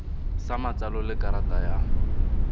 sa matsalo le karata ya